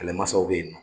Kɛlɛmasaw bɛ yen nɔ